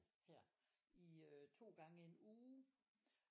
Her i øh to gange en uge